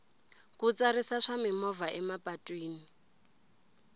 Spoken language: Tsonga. ku tsarisa swa mimovha emapatwini